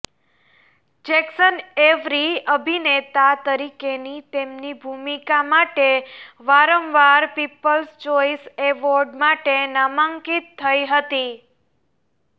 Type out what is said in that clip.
Jackson Avery અભિનેતા તરીકેની તેમની ભૂમિકા માટે વારંવાર પીપલ્સ ચોઇસ એવોર્ડ માટે નામાંકિત થઇ હતી